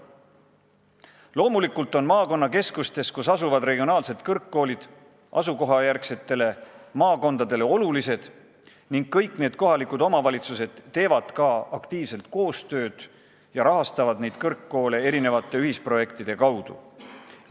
Loomulikult on maakonnakeskustes asuvad regionaalsed kõrgkoolid asukohajärgsetele maakondadele olulised ning kõik need kohalikud omavalitsused teevad aktiivselt koostööd ja rahastavad kõrgkoole mitmesuguste ühisprojektide kaudu.